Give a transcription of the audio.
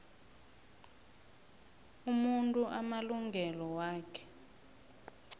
umuntu amalungelo wakhe